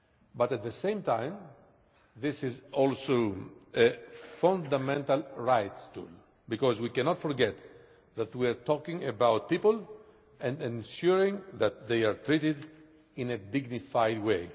But at the same time this is also a fundamental rights tool, because we cannot forget that we are talking about people and ensuring that they are treated in a dignified way.